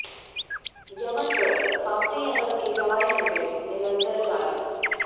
Yemen पर Saudi Arab के हवाई हमले निरंतर जारी